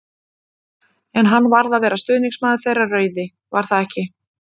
En hann varð að vera stuðningsmaður þeirra rauði, var það ekki?!